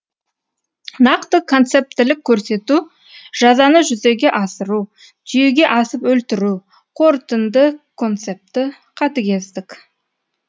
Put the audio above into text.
нақты концептілік көрсету жазаны жүзеге асыру түйеге асып өлтіру қорытынды концепті қатыгездік